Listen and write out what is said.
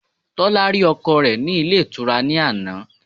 Tólá rí ọkọ re ní Ilé Ìtura ní àná